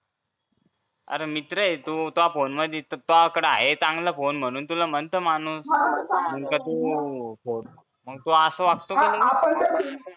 अरे मित्र ये तो त्वा फोने मधी आहे त्वा कड चांगला फोन म्हणून म्हणतं माणूस म्हणून का तू असं वागतो का तू लगेच